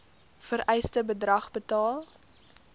vereiste bedrag betaal